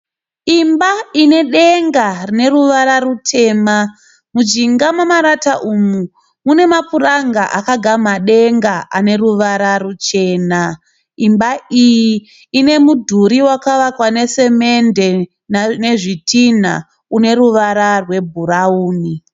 Imba ine denga rine ruvara rutema. Mujinga memarata umu mune mapuranga akagama denga ane ruvara ruchena. Imba iyi ine mudhuri wakavakwa nesemende nezvitinha une ruvara rwebhurauni.